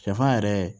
Sɛfan yɛrɛ